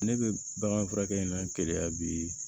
Ne bɛ bagan furakɛ n'an keleya bi